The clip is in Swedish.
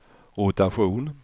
rotation